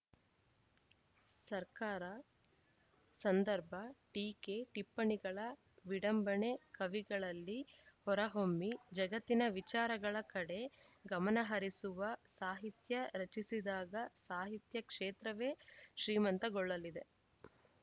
ಸರಕಾರ ಸಂದರ್ಭ ಟೀಕೆ ಟಿಪ್ಪಣಿಗಳ ವಿಡಂಬಣೆ ಕವಿಗಳಲ್ಲಿ ಹೊರಹೊಮ್ಮಿ ಜಗತ್ತಿನ ವಿಚಾರಗಳ ಕಡೆ ಗಮನಹರಿಸುವ ಸಾಹಿತ್ಯ ರಚಿಸಿದಾಗ ಸಾಹಿತ್ಯ ಕ್ಷೇತ್ರವೇ ಶ್ರೀಮಂತಗೊಳ್ಳಲಿದೆ